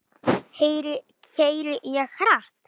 Keyri ég hratt?